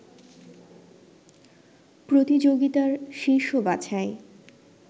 প্রতিযোগিতার শীর্ষ বাছাই